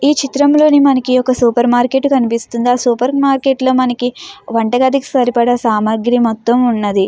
ఈ చిత్రం లో మనకి ఒక సూపర్ మార్కెట్ కనిపిస్తుంది. ఆ సూపర్ మార్కెట్ లో మనకి వంట గదికి సరిపడీ సమగిరి మొత్తం వున్నది.